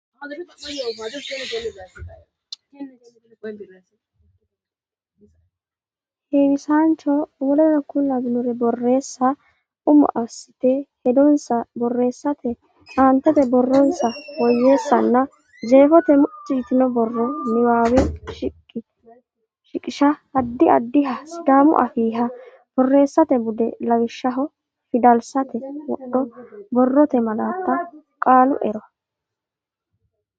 heewisaanacho w k l borreessa Umo assite hedonsa borreessa aantete borronsa woyyeessanna jeefote mucci yitino borro niwaawe shiqisha Addi addiha Sidaamu Afiiha borreessate bude lawishshaho fidalsate wodho borrote malaatta qaalu ero.